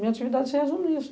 Minha atividade se resume a isso.